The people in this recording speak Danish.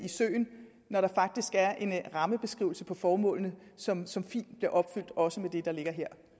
søen når der faktisk er en rammebeskrivelse på formålene som som fint bliver opfyldt også med det der ligger